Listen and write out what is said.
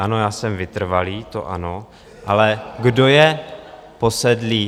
Ano, já jsem vytrvalý, to ano, ale kdo je posedlý?